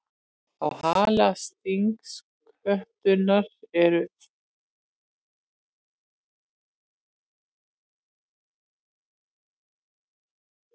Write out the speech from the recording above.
Á hala stingskötunnar eru eitraðir broddar sem geta reynst mönnum hættulegir.